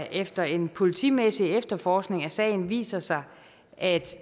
efter en politimæssig efterforskning af sagen viser sig at